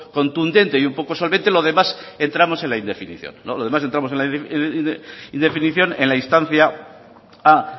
contundente y un poco solvente lo demás entramos en la indefinición lo demás entramos en la indefinición en la instancia a